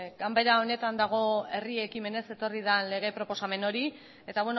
ganbera honetan dago herri ekimenez etorri den lege proposamen hori eta